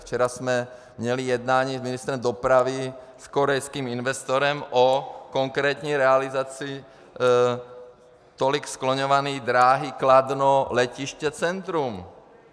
Včera jsme měli jednání s ministrem dopravy s korejským investorem o konkrétní realizaci tolik skloňované dráhy Kladno - letiště - centrum.